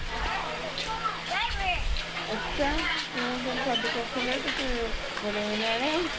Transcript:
ਅੱਛਾ ਉਹਨੇ ਤੈਨੂੰ ਸੱਦ ਕੇ ਉੱਥੇ ਕਿੱਦਾਂ ਓਹ ਵੜੇਵੇਂ ਲੈਣੇ